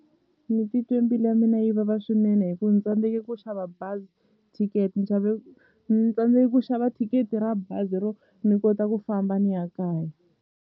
Ni titwe mbilu ya mina yi vava swinene hi ku ni tsandzeke ku xava bazi thikete ni xave ni tsandze ku xava thikithi ra bazi ro ni kota ku famba ni ya kaya.